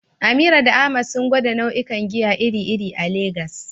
Amira da Ahmad sun gwada nau'ikan giya iri-iri a Legas.